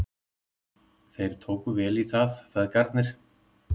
Þeir tóku vel í það, feðgarnir.